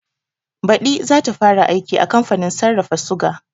Baɗi zata fara aiki a kamfanin sarrafa suga